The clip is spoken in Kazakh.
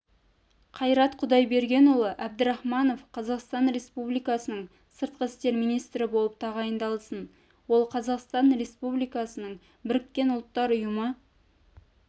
қайрат құдайбергенұлы әбдірахманов қазақстан республикасының сыртқы істер министрі болып тағайындалсын ол қазақстан республикасының біріккен ұлттар ұйымы